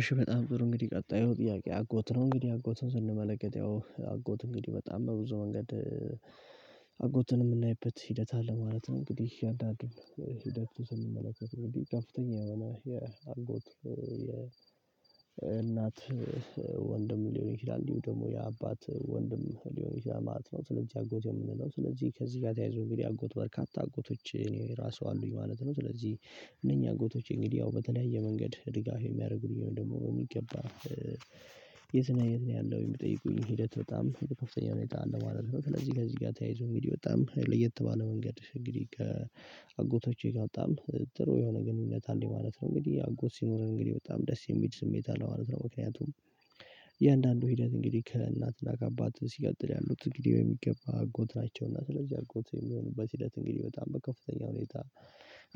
እሺ በጣም ጥሩ እንግዲህ ቀጣዩ ጥያቄ አጎት ነው። እንግዲህ አጎትን ስንመለከት ያው አጎት እንግዲህ በጣም በብዙ መንገድ አጎትን የምናይበት ሂደት አለ ማለት ነው። እንግዲህ እያዳገብን ሂደቱን ስንመለከት እንግዲህ ከፍተኛ የሆነ የአጎት የእናት ወንድም ሊሆን ይችላል እንዲሁ ደግሞ የአባት ወንድም ሊሆን ይችላል ማለት ነው፤ ስለዚህ አጎት የምንለው ስለዚህ ከዚህ ጋር ተያይዞ እንግዲህ አጎት በርካታ አጎቶች እኔ ራሱ አሉኝ ማለት ነው። ስለዚህ እነኚህ አጎቶቼ እንግዲህ ያው በተለያየ መንገድ ድጋፍ የሚያደርጉኝ ደግሞ በሚገባ የት ነህ የት ነው ያለሀው የምጠይቁኝ ሂደት በጣም በከፍተኛ ሁኔታ አለ ማለት ነው። ስለዚህ ከዚህ ጋር ተያይዞ እንግዲህ በጣም ለየት ባለ መንገድ እንግዲህ ከአጎቶቼ ጋር በጣም ጥሩ የሆነ ግንኙነት አለኝ ማለት ነው። እንግዲህ አጎት ሲኖርህ እንግዲህ በጣም ደስ የሚል ስሜት አለው ማለት ነው። ምክንያቱም እያንዳንዱ ሂደት እንግዲህ ከእናትና ከአባትህ ሲቀጥል ያሉት እንግዲህ በሚገባ አጎት ናቸው እና ስለዚህ አጎት የሚሆኑበት ሂደት እንግዲህ በጣም በከፍተኛ ሁኔታ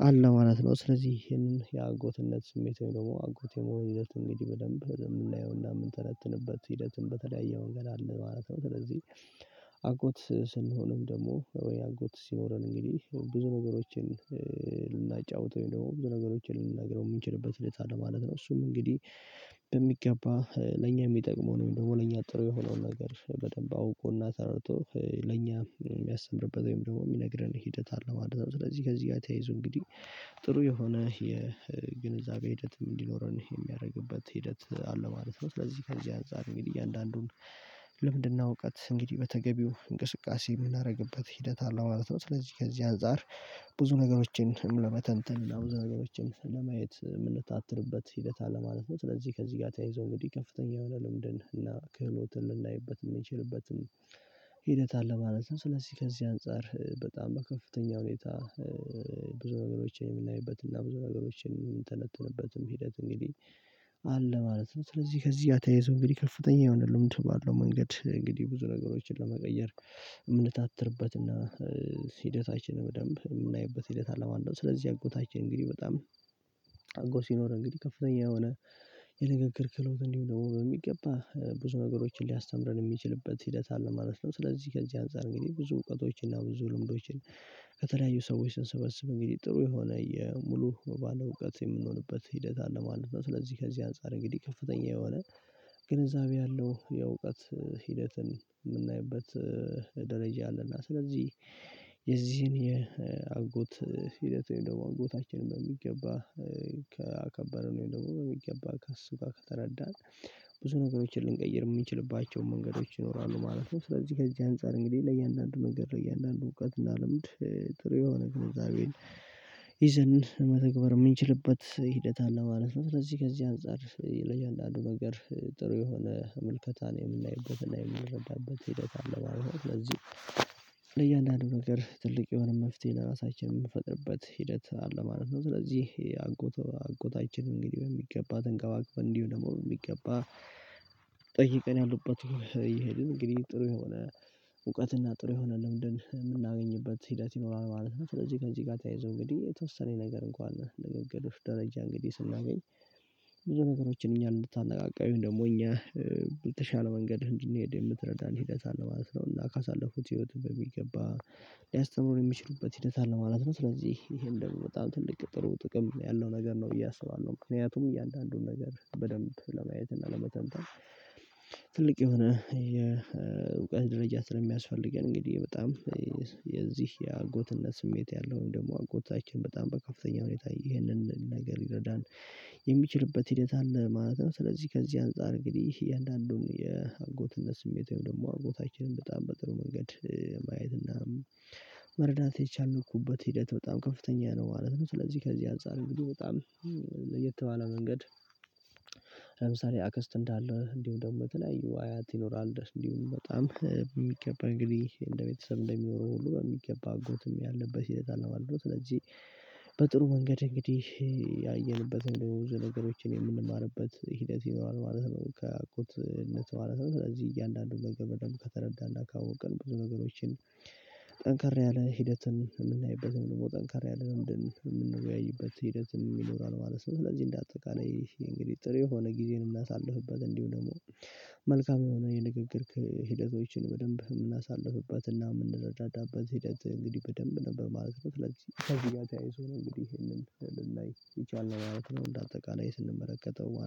አለ ማለት ነው። ስለዚህ ይሄንን የአጎትነት ስሜት ወይም ደግሞ አጎት የመሆን ይዘት እንግዲህ በደንብ የምናየውና የምንተነትንበት ሂደትን በተለያየ መንገድ አለ ማለት ነው። ስለዚህ አጎት ስንሆንም ደግሞ ወይ አጎት ሲኖረን እንግዲህ ብዙ ነገሮችን ልናጫውተው ደግሞ ብዙ ነገሮችን ልንነግረው የምንችልበት ሁኔታ አለ ማለት ነው። እሱም እንግዲህ በሚገባ ለኛ የሚጠቅመውን ወይም ደግሞ ለኛ ጥሩ የሆነውን ነገር በደንብ አውቆና ተረድቶ ለኛ የሚያስተምርበት ወይም ደግሞ የሚነግረን ሂደት አለ ማለት ነው። ስለዚህ ከዚህ ጋር ተያይዞ እንግዲህ ጥሩ የሆነ የግንዛቤ ሂደትም እንዲኖረን የሚያደርግበት ሂደት አለ ማለት ነው። ስለዚህ ከዚህ አንፃር እንግዲህ እያንዳንዱን ልምንድና እውቀት እንግዲህ በተገቢው እንቅስቃሴ የምናደርግበት ሂደት አለ ማለት ነው። ስለዚህ ከዚህ አንፃር ብዙ ነገሮችን ለመተንተን እና ብዙ ነገሮችን ለማየት የምንታትርበት ሂደት አለ ማለት ነው። ስለዚህ ከዚህ ጋር ተያይዞ እንግዲህ ከፍተኛ የሆነ ልምድን እና ክህሎትን ልናይበት የምንችልበትም ሂደት አለ ማለት ነው። ስለዚህ ከዚህ አንፃር በጣም በከፍተኛ ሁኔታ ብዙ ነገሮችን የምናይበት እና ብዙ ነገሮችን የምንተነተንበትም ሂደት እንግዲህ አለ ማለት ነው ስለዚህ ከዚህ ጋር ተያይዞ እንግዲህ ከፍተኛ የሆነ ልምድ ባለው መንገድ እንግዲህ ብዙ ነገሮችን ለመቀየር የምንታትርበትና ሂደታችንን በደንብ የምናይበት ሂደት አለ ማለት ነው። ስለዚህ አጎታችን እንግዲህ በጣም አጎት ሲኖርህ እንግዲህ ከፍተኛ የሆነ የንግግር ክህሎት እንዲሁም ደግሞ በሚገባ ብዙ ነገሮችን ሊያስተምረን የሚችልበት ሂደት አለ ማለት ነው። ስለዚህ ከዚህ አንፃር እንግዲህ ብዙ እውቀቶችን እና ብዙ ልምዶችን ከተለያዩ ሰዎች ስንሰበስብ እንግዲህ ጥሩ የሆነ የሙሉ ባለእውቀት የምንሆንበት ሂደት አለ ማለት ነው። ስለዚህ ከዚህ አንፃር እንግዲህ ከፍተኛ የሆነ ግንዛቤ ያለው የእውቀት ሂደትን የምናይበት ደረጃ አለ እና ስለዚህ የዚህን የአጎት ሂደት ወይም ደግሞ አጎታችንን በሚገባ ከአከበርን ወይም ደግሞ በሚገባ ከሱጋ ከተረዳን ብዙ ነገሮችን ልንቀይር የምንችልባቸውን መንገዶች ይኖራሉ ማለት ነው። ስለዚህ ከዚህ አንፃር እንግዲህ ለእያንዳንዱ መንገድ ለእያንዳንዱ እውቀት እና ልምድ ጥሩ የሆነ ግንዛቤን ይዘን መተግበር የምንችልበት ሂደት አለ ማለት ነው። ስለዚህ ከዚህ አንፃር ለእያንዳዱ ነገር ጥሩ የሆነ ምልከታን የምናይበትና የምንረዳበት ሂደት አለ ማለት ነው። ስለዚህ ለእያንዳንዱ ነገር ትልቅ የሆነ መፍትሄ ለራሳችን የምንፈጥርበት ሂደት አለ ማለት ነው። ስለዚህ አጎት አጎታችን እንግዲህ በሚገባ ተንከባክበን እንዲሁም ደግሞ በሚገባ ጠይቀን ያሉበትን እየሄድን እንግዲህ ጥሩ የሆነ እውቀትና ጥሩ የሆነ ልምድን የምናገኝበት ሂደት ይኖራል ማለት ነው። ስለዚህ ከዚህ ጋር ተያይዞ እንግዲህ የተወሰነች ነገር እንኳን ንግግርህ ደረጃ እንግዲህ ስናገኝ ብዙ ነገሮችን እኛን እንድታነቃቃ ወይም ደግሞ እኛ በተሻለ መንገድ እንድንሄድ የምትረዳን ሂደት አለ ማለት ነው፤ እና ካሳለፍኩት ህይወት በሚገባ ሊያስተምሩ የሚችሉበት ሂደት አለ ማለት ነው። ስለዚህ ይሄም ደግሞ በጣም ትልቅ ጥሩ ጥቅም ያለው ነገር ነው ብዬ አስባለሁ። ምክንያቱም እያንዳንዱን ነገር በደንብ ለማየት እና ለመተንተን ትልቅ የሆነ የእውቀት ደረጃ ስለሚያስፈልገን እንግዲህ በጣም የዚህ የአጎትነት ስሜት ያለው ወይም ደግሞ አጎታችን በጣም በከፍተኛ ሁኔታ ይህንን ነገር ሊረዳን የሚችልበት ሂደት አለ ማለት ነው። ስለዚህ ከዚህ አንፃር እንግዲህ እያንዳንዱን የአጎትነት ስሜት ወይም ደግሞ አጎታችንን በጣም በጥሩ መንገድ ማየት እና መረዳት የቻልኩበት ሂደት በጣም ከፍተኛ ነው ማለት ነው። ስለዚህ ከዚህ አንፃር እንግዲህ በጣም ለየት ባለ መንገድ ለምሳሌ አክስት እንዳለህ እንዲሁም ደግሞ በተለያዩ አያት ይኖራል እንዲሁ በጣም በሚገባ እንግዲህ እንደ ቤተሰብ እንደሚኖሩ ሁሉ በሚገባ አጎትም ያለበት ሂደት አለ ማለት ነው። ስለዚህ በጥሩ መንገድ እንግዲህ ያየንበት ወይም ደግሞ ብዙ ነገሮችን የምንማርበት ሂደት ይኖራል ማለት ነው ከአጎትነት ማለት ነው። ስለዚህ እያንዳንዱን ነገር በደንብ ከተረዳን እና ካወቅን ብዙ ነገሮችን ጠንከር ያለ ሂደትን የምናይበት ወይም ደግሞ ጠንካር ያለ ልምድን የምንወያይበት ሂደትም ይኖራል ማለት ነው። ስለዚህ እንዳጠቃላይ ይህ እንግዲህ ጥሩ የሆነ ጊዜን ልናሳልፍበት እንዲሁም ደግሞ መልካም የሆነ የንግግር ሂደቶችን በደንብ የምናሳልፍባትና የምንረዳዳባት ሂደት እንግዲህ በደንብ ነበር ማለት ነው። ስለዚህ ከዚህ ጋር ተያይዞ ነው እንግዲህ ይሄንን ልናይ የቻልነው ማለት ነው። እንደ አጠቃላይ ስንመለከተው